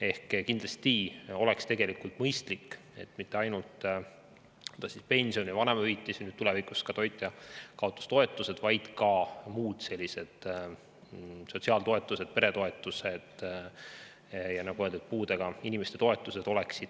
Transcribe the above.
Ehk kindlasti oleks tegelikult mõistlik, kui indekseeritud ei oleks edaspidi mitte ainult pensionid, vanemahüvitised ja tulevikus ka toitjakaotustoetus, vaid ka muud toetused, näiteks sotsiaaltoetused, peretoetused, ja nagu öeldud, puudega inimeste toetused.